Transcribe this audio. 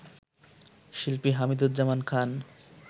শিল্পী হামিদুজ্জামান খান